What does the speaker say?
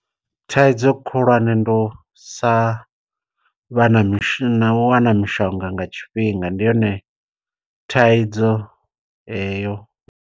Thaidzo khulwane ndi u sa vha na mishonga u wana mishonga nga tshifhinga ndi yone thaidzo heyo.